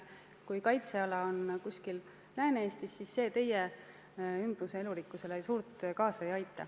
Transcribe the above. Kui kaitseala on kuskil Lääne-Eestis, siis see teie ümbruse elurikkusele suurt kaasa ei aita.